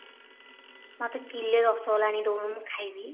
ମତେ କିଲେ ରସଗୋଲା ଆଣିକି ଦଉନୁ ମୁଁ ଖାଇବି